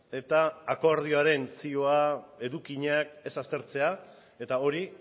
eta akordioaren zioak edukinak ez aztertzea eta hori